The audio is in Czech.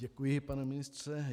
Děkuji, pane ministře.